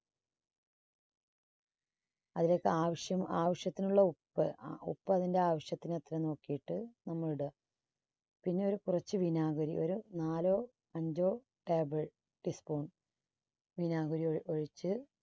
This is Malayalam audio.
അതിലേക്ക് ആവശ്യ~ആവശ്യത്തിനുള്ള ഉപ്പ്. ഉപ്പ് അതിന്റെ ആവശ്യത്തിന് എത്ര എന്ന് നോക്കിയിട്ട് നമ്മൾ ഇടുക. പിന്നെ ഒരു കുറച്ചു വിനാഗിരി ഒരു നാലോ അഞ്ചോ table tea spoon വിനാഗിരി ഒ~ഒഴിച്ച്